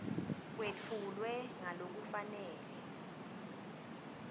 kwetfulwe ngalokufanele